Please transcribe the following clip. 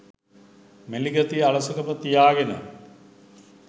මැලි ගතිය අලසකම තියාගෙන